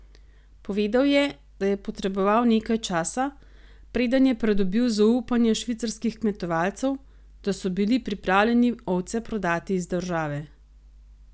Povedal je, da je potreboval nekaj časa, preden je pridobil zaupanje švicarskih kmetovalcev, da so bili pripravljeni ovce prodati iz države.